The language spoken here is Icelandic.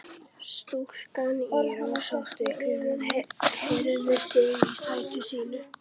Stúlkan í rósótta kjólnum hreyfði sig í sæti sínu.